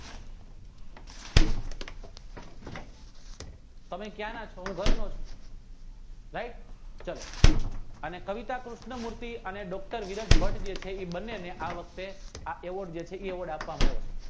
તમે ક્યાંના છો હું ઘરનો છું RIGHT ચાલો અને કવિતા કૃષ્ણ મૂર્તિ અને ડોક્ટર વિરાજ ભટ્ટ જે છે એ બંને આ વખતે પ્રયોગ આપવામાં આવ્યો છે